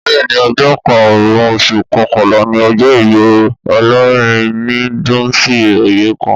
Bẹ́ẹ̀ni ọjọ́ karùn-ún oṣù kọkànlá ni ọjọ́ ìbí Olórin ni Dunsin Oyekan